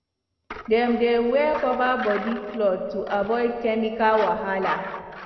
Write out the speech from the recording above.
dem dey wear cover body cloth to avoid chemical wahala